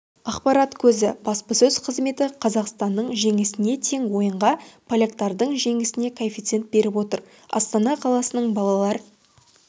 ақпарат көзі баспасөз қызметі қазақстанның жеңісіне тең ойынға поляктардың жеңісіне коэффициент беріп отыр астана қаласының балалар